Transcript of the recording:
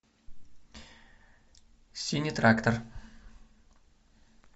синий трактор